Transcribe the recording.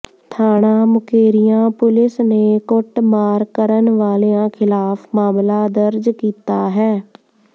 ਥਾਣਾ ਮੁਕੇਰੀਆਂ ਪੁਲਿਸ ਨੇ ਕੁੱਟਮਾਰ ਕਰਨ ਵਾਲਿਆਂ ਖ਼ਿਲਾਫ਼ ਮਾਮਲਾ ਦਰਜ ਕੀਤਾ ਹੈ